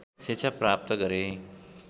शिक्षा प्राप्त गरे